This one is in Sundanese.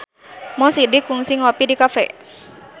Mo Sidik kungsi ngopi di cafe